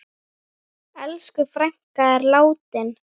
Elsku frænka er látin.